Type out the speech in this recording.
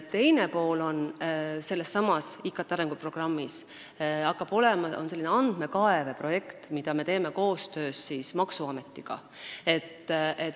Teine sellesama IKT arenguprogrammi pool on andmekaeveprojekt, mida me teeme koostöös maksuametiga.